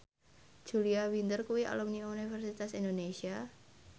Julia Winter kuwi alumni Universitas Indonesia